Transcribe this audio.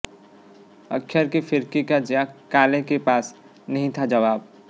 अक्षर की फिरकी का जैक क्रॉले के पास नहीं था जवाब